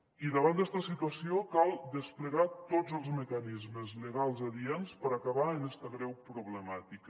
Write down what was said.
i davant d’esta situació cal desplegar tots els mecanismes legals adients per acabar amb esta greu problemàtica